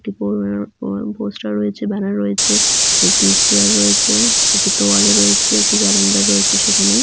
একটি বরর বড় পোস্টার রয়েছে ব্যানার রয়েছে। একটি চেয়ার রয়েছে একটি তোয়ালে রয়েছে। একটি ক্যালেন্ডার রয়েছে সেখানে।